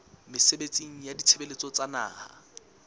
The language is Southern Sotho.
mesebetsing ya ditshebeletso tsa naha